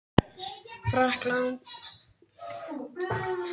Frakklandi og hamdi það af leikni.